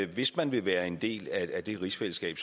hvis man vil være en del af det rigsfællesskab